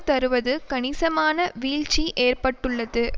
தருவது கணிசமான வீழ்ச்சி ஏற்பட்டுள்ளது